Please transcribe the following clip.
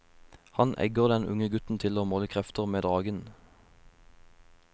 Han egger den unge gutten til å måle krefter med dragen.